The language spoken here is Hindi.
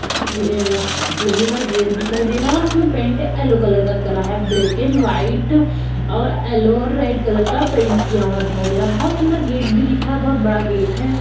लोहे का गेट दिखाई दे रहा है। उसमें पेंट एलो कलर का करा है। ब्लैक एंड व्हाइट और एलो और रेड कलर का पेंट किया हुआ दिखाई दे रहा है। बोहोत सुंदर गेट भी दिखाई दे रहा है बोहोत बड़ा गेट है।